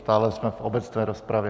Stále jsme v obecné rozpravě.